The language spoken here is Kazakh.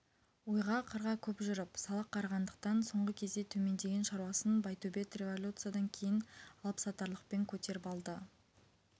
ойға-қырға көп жүріп салақ қарағандықтан соңғы кезде төмендеген шаруасын байтөбет революциядан кейін алыпсатарлықпен көтеріп алды